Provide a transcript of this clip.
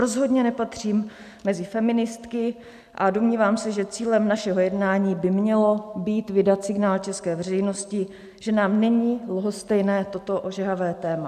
Rozhodně nepatřím mezi feministky a domnívám se, že cílem našeho jednání by mělo být vydat signál české veřejnosti, že nám není lhostejné toto ožehavé téma.